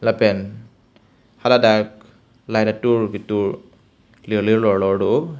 lapen haladak light atur kitur lir lir lor lor do oh.